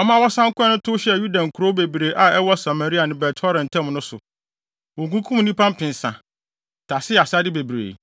ɔma wɔsan kɔe no tow hyɛɛ Yuda nkurow bebree a ɛwɔ Samaria ne Bet-Horon ntam no so. Wokunkum nnipa mpensa, tasee asade bebree.